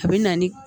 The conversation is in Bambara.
A bɛ na ni